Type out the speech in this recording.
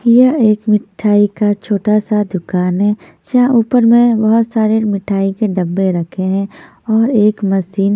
यह एक मिठाई का छोटा सा दुकान है जहां ऊपर में बहोत सारे मिठाई के डब्बे रखे हैं और एक मशीन --